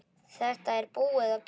Þetta er búið og gert.